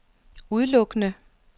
udelukkende